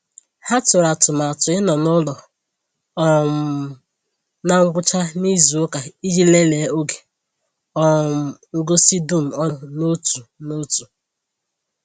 Ha tụrụ atụmatụ ịnọ n’ụlọ um na ngwụcha n’izu ụka iji lelee oge um ngosi dum ọnụ n’otu n’otu